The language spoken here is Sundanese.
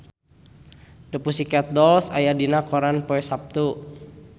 The Pussycat Dolls aya dina koran poe Saptu